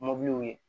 Mɔbiliw ye